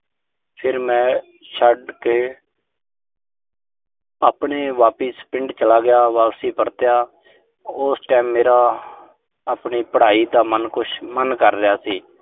ਫਿਰ ਮੈਂ ਛੱਡ ਕੇ ਆਪਣੇ ਵਾਪਿਸ ਪਿੰਡ ਚਲਾ ਗਿਆ। ਵਾਪਸ ਪਰਤਿਆ। ਉਸ time ਮੇਰਾ ਆਪਣੀ ਪੜਾਈ ਦਾ ਮਨ ਕੁਸ਼ ਮਨ ਕਰ ਰਿਹਾ ਸੀ।